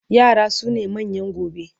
yara sune manyan gobe